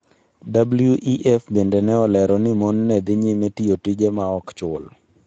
WEF bende ne olero ni mon ne dhi nyime tiyo tije ma ok chul.